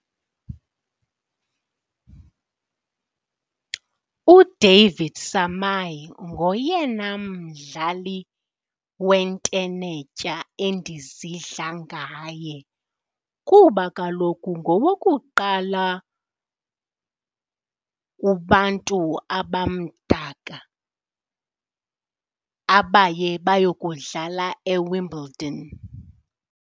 UDavid Samaai ngoyena mdlali wentenetya endizidla ngaye kuba kaloku ngowokuqala kubantu abamdaka abaye bayokudlala eWimbledon.